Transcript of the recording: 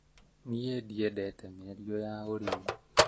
Niĩ ndiendete mĩario ya ũrimũ